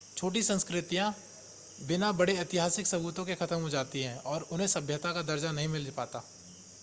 छोटी संस्कृतियां बिना बड़े ऐतिहासिक सबूतों के खत्म हो जाती हैं और उन्हें सभ्यता का दर्जा नहीं मिल पाता